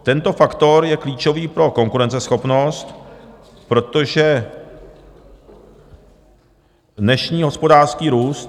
Tento faktor je klíčový pro konkurenceschopnost, protože dnešní hospodářský růst...